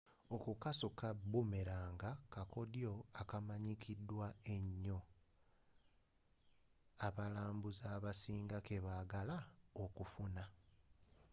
okukasuka bumelanga kakodyo akamanyikiddwa enyo abalambuuzi abasinga kebagala okufuna